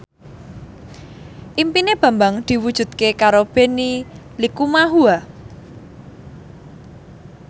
impine Bambang diwujudke karo Benny Likumahua